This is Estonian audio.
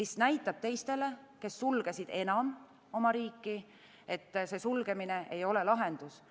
See näitab teistele, kes sulgesid oma riigi, et sulgemine ei ole lahendus.